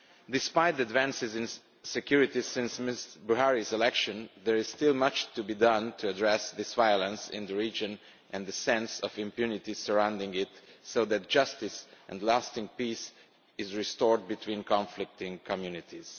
Despite advances in security since Mr Buhari's election, there is still much to be done to address this violence in the region and the sense of impunity surrounding it, so that justice and lasting peace is restored between conflicting communities.